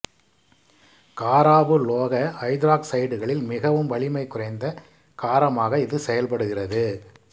காரவுலோக ஐதராக்சைடுகளில் மிகவும் வலிமை குறைந்த காரமாக இது செயல்படுகிறது